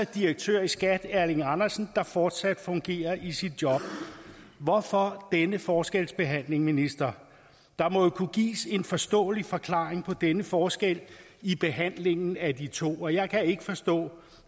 direktør i skat erling andersen fortsat fungerer i sit job hvorfor denne forskelsbehandling ministeren der må jo kunne gives en forståelig forklaring på denne forskel i behandlingen af de to jeg kan ikke forstå